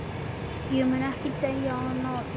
Ég mun ekki deyja í náðinni.